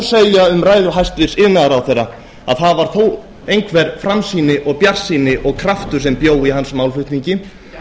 segja um ræðu hæstvirts iðnaðarráðherra að það var þó einhver framsýni og bjartsýni og kraftur sem bjó í hans málflutningi